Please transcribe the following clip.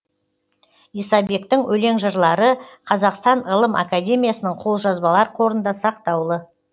исабектің өлең жырлары қазақстан ғылым академиясының қолжазбалар қорында сақтаулы